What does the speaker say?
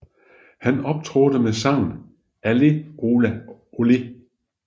Han optrådte med sangen Allez Ola Olé